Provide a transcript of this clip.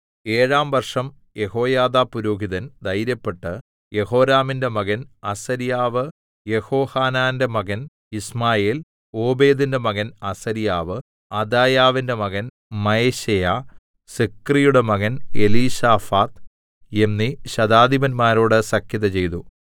ഏഴാം വർഷം യെഹോയാദാ പുരോഹിതൻ ധൈര്യപ്പെട്ട് യെഹോരാമിന്റെ മകൻ അസര്യാവ് യെഹോഹാനാന്റെ മകൻ യിശ്മായേൽ ഓബേദിന്റെ മകൻ അസര്യാവ് അദായാവിന്റെ മകൻ മയശേയാ സിക്രിയുടെ മകൻ എലീശാഫാത്ത് എന്നീ ശതാധിപന്മാരോട് സഖ്യത ചെയ്തു